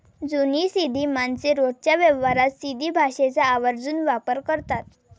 जुनी सिंधी माणसे रोजच्या व्यवहारात सिंधी भाषेचा आवर्जून वापर करतात.